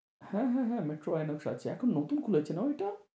হ্যাঁ হ্যাঁ হ্যাঁ মেট্রো আইনক্স আছে। এখন নতুন খুলেছে না ওইটা?